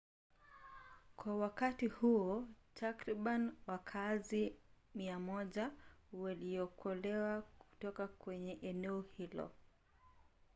kwa wakati huo takriban wakaazi 100 waliokolewa kutoka kwenye eneo hilo